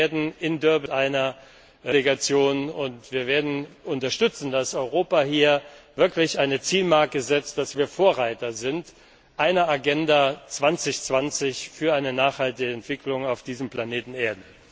Wir werden mit einer Delegation in Durban sein, und wir werden unterstützen, dass Europa hier wirklich eine Zielmarke setzt, dass wir Vorreiter sind eine Agenda 2020 für eine nachhaltige Entwicklung auf diesem Planeten Erde.